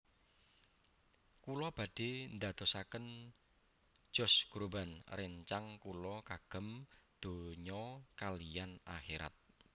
Kula badhe ndadosaken Josh Groban rencang kula kagem donya kaliyan akhirat